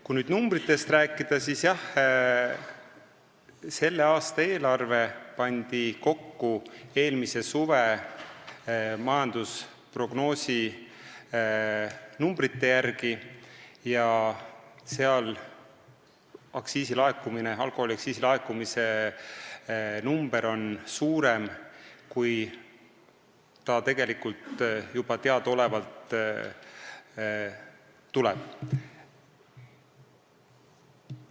Kui nüüd numbritest rääkida, siis selle aasta eelarve pandi kokku eelmise suve majandusprognoosi järgi, kus alkoholiaktsiisi laekumise number on suurem, kui see juba teadaolevalt tegelikult tuleb.